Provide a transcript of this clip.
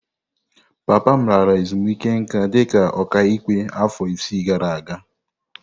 Papa m lara ezumike nká dị ka ọkàikpe afọ isii gara aga.